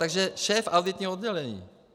Takže šéf auditního oddělení.